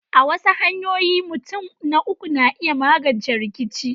A wasu hanyoyin, mutun na uku na iya magance rikice.